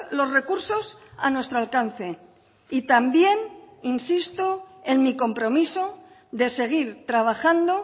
los recursos a nuestro alcance y también insisto en mi compromiso de seguir trabajando